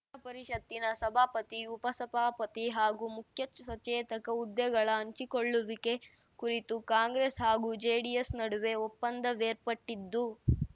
ವಿಧಾನಪರಿಷತ್ತಿನ ಸಭಾಪತಿ ಉಪಸಭಾಪತಿ ಹಾಗೂ ಮುಖ್ಯ ಸಚೇತಕ ಹುದ್ದೆಗಳ ಹಂಚಿಕೊಳ್ಳುವಿಕೆ ಕುರಿತು ಕಾಂಗ್ರೆಸ್‌ ಹಾಗೂ ಜೆಡಿಎಸ್‌ ನಡುವೆ ಒಪ್ಪಂದವೇರ್ಪಟ್ಟಿದ್ದು